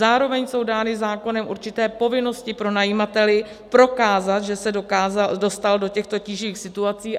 Zároveň jsou dány zákonem určité povinnosti pronajímateli prokázat, že se dostal do těchto tíživých situací.